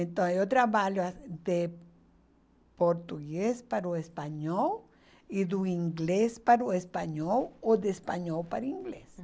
Então eu trabalho as de português para o espanhol e do inglês para o espanhol ou do espanhol para o inglês.